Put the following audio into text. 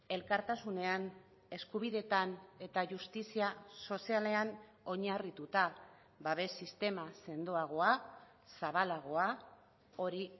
elkartasunean eskubideetan eta justizia sozialean oinarrituta babes sistema sendoagoa zabalagoa hori